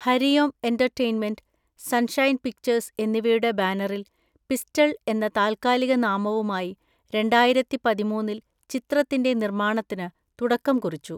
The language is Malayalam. Hari Om entertainment, sunshine pictures എന്നിവയുടെ ബാനറിൽ പിസ്റ്റൾ എന്ന താൽക്കാലിക നാമവുമായി രണ്ടായിരത്തിപതിമൂന്നിൽ ചിത്രത്തിൻ്റെ നിർമാണത്തിന് തുടക്കംകുറിച്ചു.